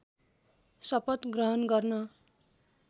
शपथ ग्रहण गर्न